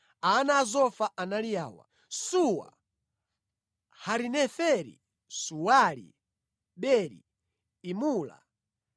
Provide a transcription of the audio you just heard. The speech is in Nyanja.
Ana a Zofa anali awa: Suwa, Harineferi, Suwali, Beri, Imula,